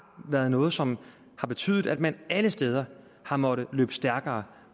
været noget som har betydet at man alle steder har måttet løbe stærkere